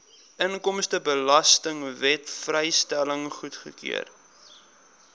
inkomstebelastingwet vrystelling goedgekeur